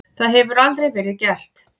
Það hefur aldrei verið gert.